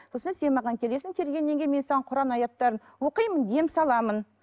сосын сен маған келесің келгеннен кейін мен саған құран аяттарын оқимын дем саламын